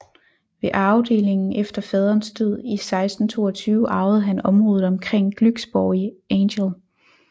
Ved arvedelingen efter faderens død i 1622 arvede han området omkring Glücksborg i Angel